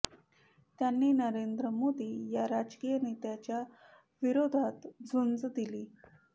त्यांनी नरेंद्र मोदी या राजकीय नेत्यांच्या विरोधात झुंज दिली